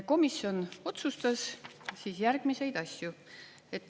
Komisjon otsustas järgmisi asju.